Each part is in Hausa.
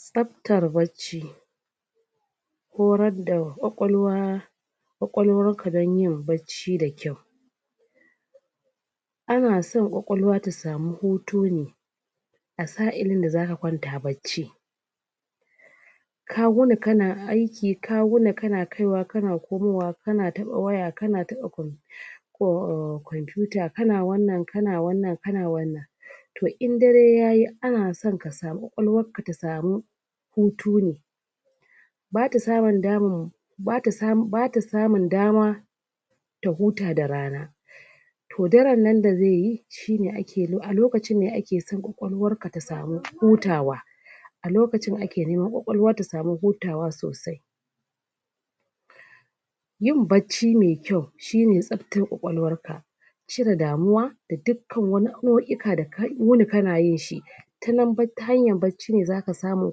Tsaftar bacci Horar da kwakwalwa kwakwalwarka dan yin bacci da kyau Anaso kwakwalwa ta samu hutu ne A sa'in da zaka kwanta bacci ka wuni kana aiki ka wuni kana kaiwa kana komowa kana taba waya kana taba computer computer To in dare yayi anason kwakwalwarka ta samu Hutu ne bata samun daman bata samun dama ta huta da rana To darennan da zaiyi a lokacin ne akeso kwakwalwarka ta samu hutawa A lokacin ake so kwakwalwa ta samu hutawa sosai Yin bacci me kyau shine tsaftar kwakwalwarka cire damuwa da dukkan wani aiyuka da ka wuni kana yinshi Ta hanyar bacci ne zaka samu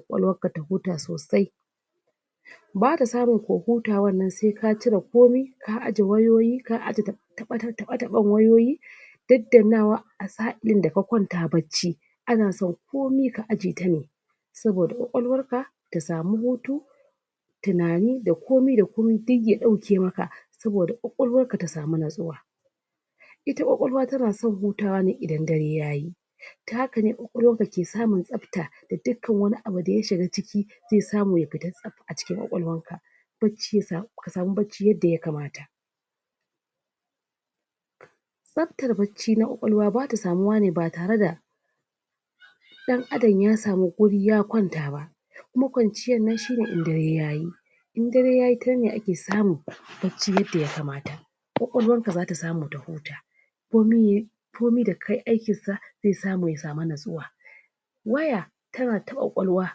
kwakwalwarka ta huta sosai bata samun ko hutawarnan sai ka cire komai ka ajye wayoyi ka ajye tabe-taben wayoyi daddannawa sa'in da ka kwanta bacci anason komai a ajyeta ne saboda kwakwalwarka ta samu hutu tunani da komai da komai duk ya dauke maka saboda kwakwalwarka ta samu natsuwa Ita kwakwalwa tanason hutawa ne idan dare yayi ta haka ne kwakwalwarka ke samun tsafta, da dukkan wani abu da ya shiga ciki zai samu ya fita a cikin kwakwalwarka Ka samu bacci yadda ya kamata Tsaftar bacci na kwakwalwa bata samuwa ne ba tareda dan Adam ya samu guri ya kwanta ba kuma kwanciyar nan shine in dare yayi in dare yayi shineake samun bacci yadda ya kamata kwakwalwarka zata samu ta huta komai da kayi aikinsa, sai ya samuya samu natsuwa waya tanada kwakwalwa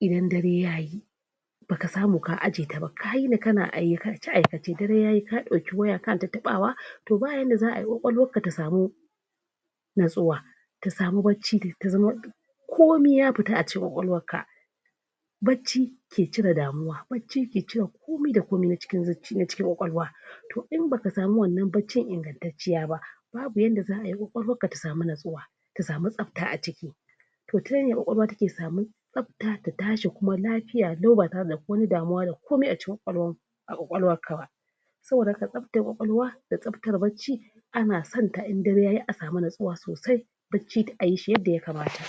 idan dare yayi baka samu ka ajye ta ba ka yini kna aikace aikace dare yayi kanata tabawa, to ba yanda za'ay kwakwalwarka ta samu natsuwa ta samu bacci ta zama komai ya fita a cikin kwakwalwarka bacci ke cire damuwa. Bacci ke cire komai da komai na cikin kwakwalwa In baka samu wannan baccin ingantacciya ba ba yanda za'ay kwakwalwarka ta samu natsuwa ta samu tsafta a ciki to tanan ne kwakwalwa take samun tsafta ta tashi lafiya lau ba tare da wani damuwa da kuma komai acikin kwakwalwarka ba tsaftar kwakwalwa, da tsaftar bacci Anason in dare yayi asamu natsuwa sosai. Bacci a yishi yadda ya kamata.